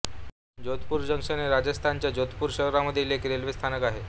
Jodhpur junction हे राजस्थानच्या जोधपूर शहरामधील एक रेल्वे स्थानक आहे